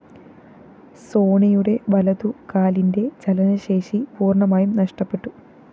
സോണിയുടെ വലതു കാലിന്റെ ചലനശേഷി പൂര്‍ണ്ണമായും നഷ്ടപ്പെട്ടു